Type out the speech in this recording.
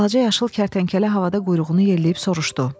Balaca yaşıl kərtənkələ havada quyruğunu yelləyib soruşdu.